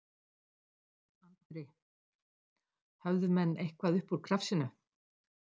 Andri: Höfðu menn eitthvað upp úr krafsinu?